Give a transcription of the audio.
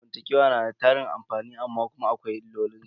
Daraja zamantakewa na da tarin amfani amma kuma akwai illolin su.